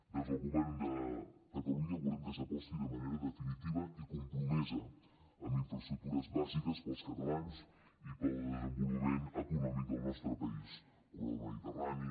des del govern de catalunya volem que s’aposti de manera definitiva i compromesa en infraestructures bàsiques per als catalans i per al desenvolupament econòmic del nostre país corredor mediterrani